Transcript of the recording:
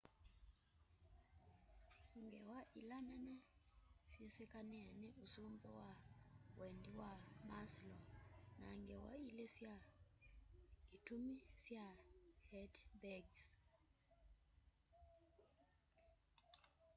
ngewa ĩla nene syĩ sĩkanĩe nĩ ũsũmbĩ wa wendĩ wa maslow na ngewa ĩlĩ sya ĩtũmĩ sya hertzberg's